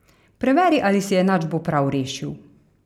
Preveri, ali si enačbo prav rešil.